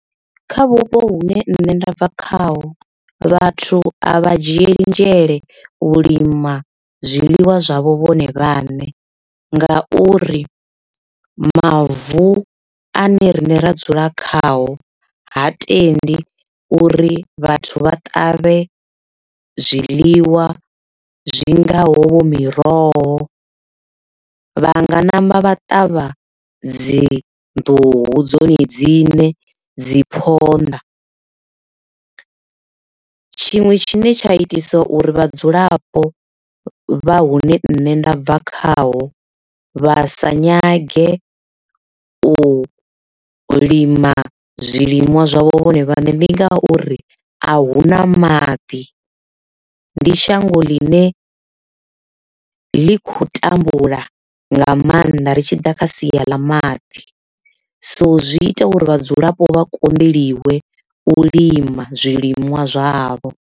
Kha vhupo hune nṋe nda bva khaho vhathu a vha dzhielinzhele u lima zwiḽiwa zwavho vhone vhaṋe nga uri mavu ane rine ra dzula khao ha tendi uri vhathu vha ṱavhe zwiḽiwa zwi ngaho vho miroho vha nga ṋamba vha ṱavha dzi nḓuhu dzone dzine dzi phonḓa. Tshiṅwe tshine tsha itisa uri vhadzulapo vha hune nṋe nda bva khaho vha sa nyage u lima zwiliṅwa zwavho vhone vhaṋe zwi nga uri ahuna maḓi ndi shango ḽine ḽi khou tambula nga maanḓa ri tshi ḓa kha sia ḽa maḓi, so zwi ita uri vhadzulapo vha konḓeliwe u lima zwiliṅwa zwavho.